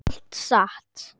Allt satt.